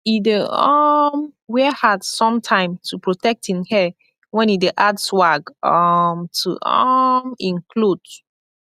e dey um wear hat somtime to protect en hair wen e dey add swag um to um en kloth